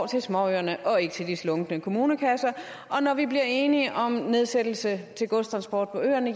til småøerne og ikke til de slunkne kommunekasser og når vi bliver enige om nedsættelse i til godstransport på øerne